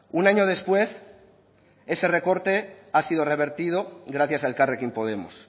un año después ese recorte ha sido revertido gracias a elkarrekin podemos